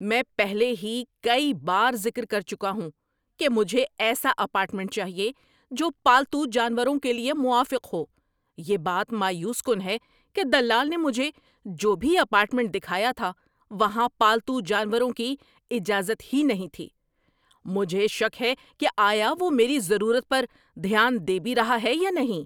میں پہلے ہی کئی بار ذکر کر چکا ہوں کہ مجھے ایسا اپارٹمنٹ چاہیے جو پالتو جانوروں کے لیے موافق ہو۔ یہ بات مایوس کن ہے کہ دلال نے مجھے جو بھی اپارٹمنٹ دکھایا تھا وہاں پالتو جانوروں کی اجازت ہی نہیں تھی۔ مجھے شک ہے کہ آیا وہ میری ضروریات پر دھیان دے بھی رہا ہے یا نہیں۔